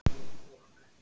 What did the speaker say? Að kveða niður draug